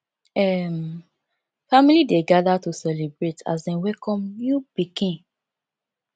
um family dey gather to celebrate as dem welcome new pikin